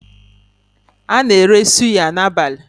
A na-ere suya n'abalị.